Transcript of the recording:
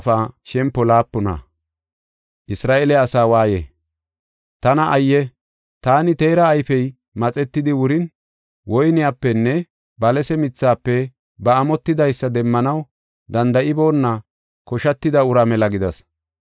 Tana ayye! Taani teera ayfey maxetidi wurin, woyniyapenne balase mithafe ba amotidaysa demmanaw danda7iboona koshatida uraa mela gidas.